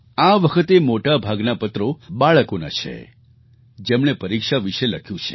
આ વખતે મોટા ભાગના પત્રો બાળકોના છે જેમણે પરીક્ષા વિશે લખ્યું છે